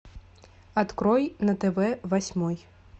открой на тв восьмой